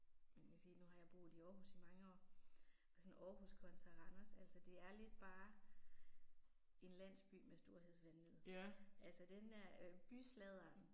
Man kan sige nu har jeg boet i Aarhus i mange år. Og sådan Aarhus kontra Randers, altså det er lidt bare en landsby med storhedsvanvid. Altså den der øh bysladder